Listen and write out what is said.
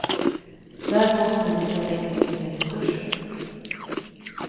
Där måste vi sätta in mycket mer resurser.